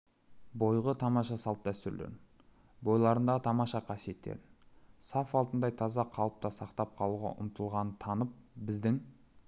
бойғы тамаша салт-дәстүрлерін бойларындағы тамаша қасиеттерін саф алтындай таза қалыпта сақтап қалуға ұмтылғанын танып біздің